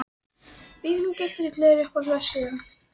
Víking gylltur í gleri Uppáhalds vefsíða?